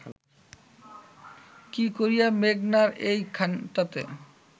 কি করিয়া মেঘনার এইখানটাতে